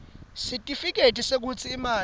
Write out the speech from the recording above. sitifiketi sekutsi imali